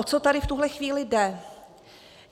O co tady v tuhle chvíli jde?